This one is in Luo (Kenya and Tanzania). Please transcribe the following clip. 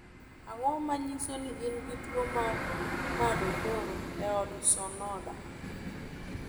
Ang'o ma nyiso ni in gi tuwo mar Madokoro Ohdo Sonoda?